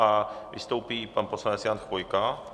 A vystoupí pan poslanec Jan Chvojka.